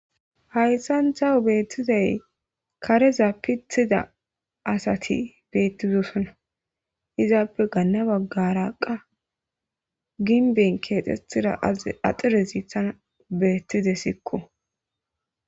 hayssan thawo beettizay kareza pithida asati beettizosona izaappe ganna baggaraqa ginben keexetira axire ziithana beettide sikko